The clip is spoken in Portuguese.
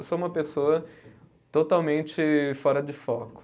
Eu sou uma pessoa totalmente fora de foco.